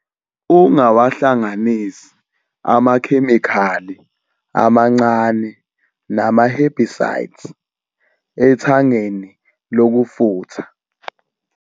Ungawahlanganisi amakhemikhali amancane nama-herbicides ethangeni lokufutha.